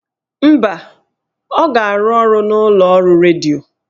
Mba, ọ ga-arụ ọrụ n'ụlọọrụ redio